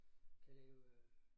Kan lave øh